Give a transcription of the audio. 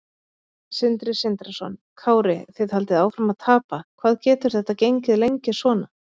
Sindri Sindrason: Kári þið haldið áfram að tapa, hvað getur þetta gengið lengi svona?